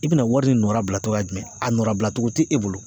I bɛna wari de nɔra bila cogo jumɛn ? A nɔ labila cogo tɛ e bolo.